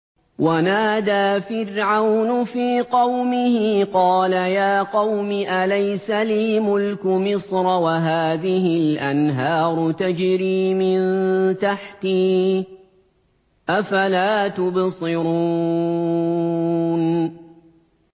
وَنَادَىٰ فِرْعَوْنُ فِي قَوْمِهِ قَالَ يَا قَوْمِ أَلَيْسَ لِي مُلْكُ مِصْرَ وَهَٰذِهِ الْأَنْهَارُ تَجْرِي مِن تَحْتِي ۖ أَفَلَا تُبْصِرُونَ